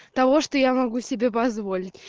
того что я могу себе позволить